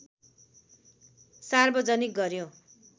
सार्वजनिक गर्‍यो